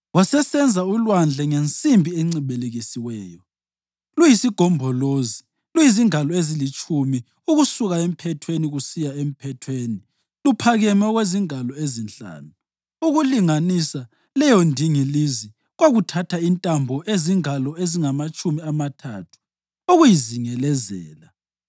Wasesenza uLwandle ngensimbi encibilikisiweyo, luyisigombolozi, luyizingalo ezilitshumi ukusuka emphethweni kusiya emphethweni luphakeme okwezingalo ezinhlanu. Ukulinganisa leyondingilizi kwakuthatha intambo ezingalo ezingamatshumi amathathu ukuyizingelezela.